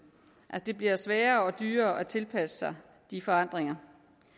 det bliver sværere og dyrere at tilpasse sig de forandringer